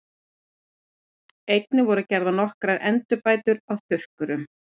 Einnig voru gerðar nokkrar endurbætur á þurrkurum.